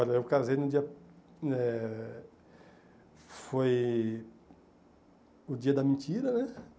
Olha, eu casei no dia... eh Foi... O dia da mentira, né?